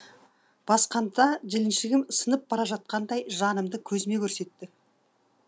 басқанда жіліншігім сынып бара жатқандай жанымды көзіме көрсетеді